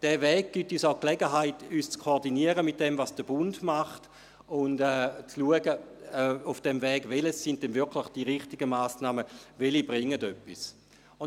Dieser Weg gibt uns auch die Gelegenheit, uns mit dem zu koordinieren, was der Bund macht, und auf diesem Weg zu schauen, welches denn wirklich die richtigen Massnahmen sind und welche Massnahmen wirklich etwas bringen.